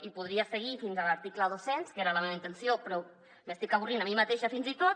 i podria seguir fins a l’article dos cents que era la meva intenció però m’estic avorrint a mi mateixa fins i tot